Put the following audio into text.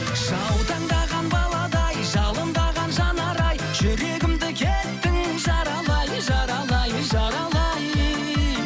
жаутаңдаған баладай жалындаған жанар ай жүрегімді кеттің жаралай жаралай жаралай